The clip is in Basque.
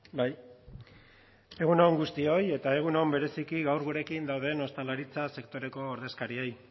bai egun on guztioi eta egun on bereziki gaur gurekin dauden ostalaritza sektoreko ordezkariei